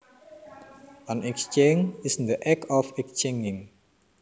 An exchange is the act of exchanging